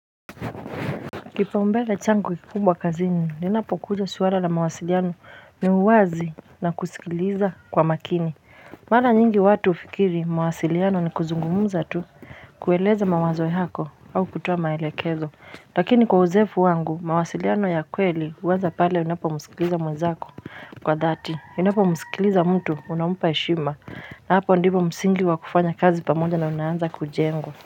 Kipu mbele changu kikubwa kazini ninapo kuja swala la mawasiliano ni mwazi na kusikiliza kwa makini Mara nyingi watu hufikiri mawasiliano ni kuzungumuza tu kueleza mawazo yako au kutoa maelekezo Lakini kwa uzoefu wangu mawasiliano ya kweli huanza pale unapomsikiliza mwenzako kwa dhati unapomsikiliza mtu unampa heshima na hapa ndipo msingi wa kufanya kazi pamoja na unaanza kujenga.